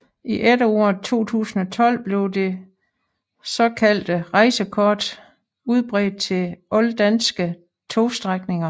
I efteråret 2012 blev det såkaldte rejsekort udbredt til alle danske togstrækninger